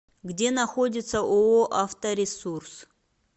где находится ооо авторесурс